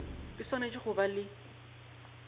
di swanetše go ba le